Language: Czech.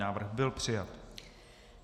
Návrh byl přijat.